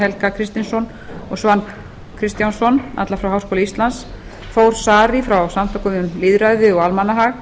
helga kristinsson og svan kristjánsson alla frá háskóla íslands þór saari frá samtökum um lýðræði og almannahag